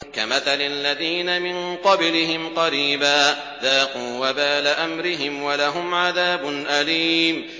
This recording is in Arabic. كَمَثَلِ الَّذِينَ مِن قَبْلِهِمْ قَرِيبًا ۖ ذَاقُوا وَبَالَ أَمْرِهِمْ وَلَهُمْ عَذَابٌ أَلِيمٌ